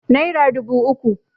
naira dubu uku